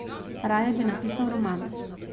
Raje bi napisal roman.